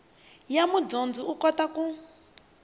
ya mudyondzi u kota ku